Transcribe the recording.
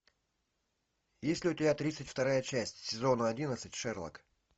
есть ли у тебя тридцать вторая часть сезона одиннадцать шерлок